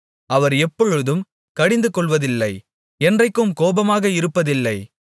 அவர் எப்பொழுதும் கடிந்துகொள்வதில்லை என்றைக்கும் கோபமாக இருப்பதில்லை